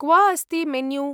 क्व अस्ति मेन्यू?